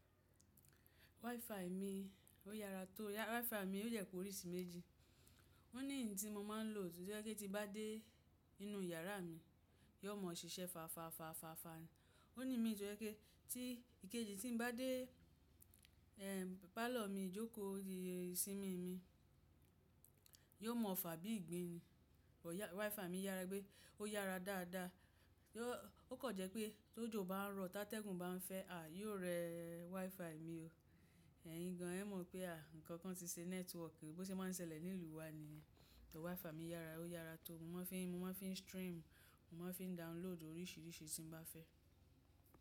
WiFi mi ó yára tó. WiFi mi ó yẹ pé orí si méjì. Ó ní yì tí mo máa ń lò, tó jẹ́pe tí bá dé inú yàrá mi, yóò mọ̀ọ́ ṣiṣẹ́ fààfaàfààfàà ní. Ó ní mi tó jẹ́pe tí ìkejì tí ń bá dé, ehn, pálọ̀ mi jókòó ìsinmi mi, yóò mọ̀ọ́ fà bí ìgbín ni. WiFi mi yára pé ó yára dáadáa yo. Ó kọ̀ jẹ́ pé tó jò bá ń rọ̀, tá tẹ́gùn bá ń fẹ́, à yóò rẹ WiFi mi o. Ẹ̀yin gan ẹ mọ̀ pé à nǹkan kan ti ṣe networku, bí ó ṣe máa ń ṣẹlẹ̀ nílùú wa ni yen. WiFi mi yára, ó yára tó. Mo máa ń fín, mo ma ń fín stream, mo ma ń fín download oríṣiríṣi tí m bá fẹ́